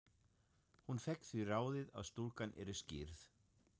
Hún fékk því ráðið að stúlkan yrði skírð